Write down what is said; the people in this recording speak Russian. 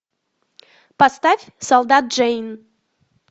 поставь солдат джейн